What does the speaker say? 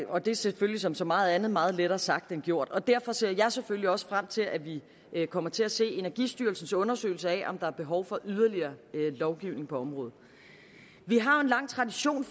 og det er selvfølgelig som så meget andet meget lettere sagt end gjort derfor ser jeg selvfølgelig også frem til at vi kommer til at se energistyrelsens undersøgelse af om der er behov for yderligere lovgivning på området vi har en lang tradition